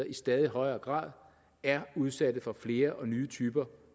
i stadig højere grad er udsat for flere og nye typer